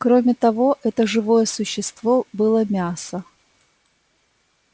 кроме того это живое существо было мясо